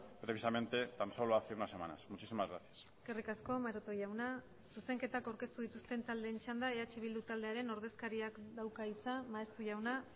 precisamente tan solo hace unas semanas muchísimas gracias eskerrik asko maroto jauna zuzenketak aurkeztu dituzten taldeen txanda eh bildu taldearen ordezkariak dauka hitza maeztu jauna